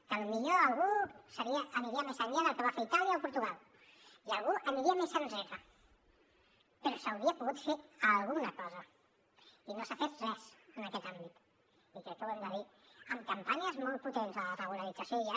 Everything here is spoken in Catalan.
que a lo millor algú aniria més enllà del que va fer itàlia o portugal i algú aniria més enrere però s’hauria pogut fer alguna cosa i no s’ha fet res en aquest àmbit i crec que ho hem de dir amb campanyes molt potents de la regularització hi ha